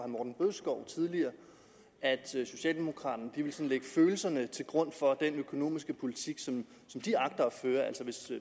morten bødskov tidligere at socialdemokraterne vil lægge følelserne til grund for den økonomiske politik som de agter at føre altså hvis